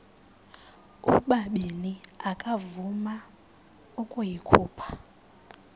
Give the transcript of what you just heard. ubabini akavuma ukuyikhupha